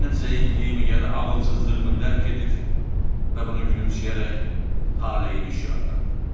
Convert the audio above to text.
O mənim zəifliyimi ya da ağılsızlığımı dərk edir və bunu gülümsəyərək taleyin işi adlandırırdı.